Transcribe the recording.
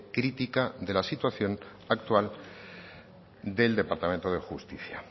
crítica de la situación actual del departamento de justicia